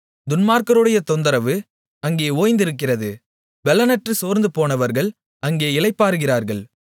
துன்மார்க்கருடைய தொந்தரவு அங்கே ஓய்ந்திருக்கிறது பெலனற்று சோர்ந்து போனவர்கள் அங்கே இளைப்பாறுகிறார்கள்